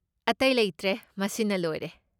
ꯑꯇꯩ ꯂꯩꯇ꯭ꯔꯦ ꯃꯁꯤꯅ ꯂꯣꯏꯔꯦ꯫